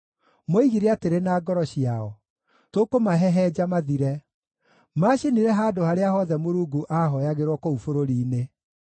Moigire atĩrĩ na ngoro ciao, “Tũkũmahehenja mathire!” Maacinire handũ harĩa hothe Mũrungu aahooyagĩrwo kũu bũrũri-inĩ.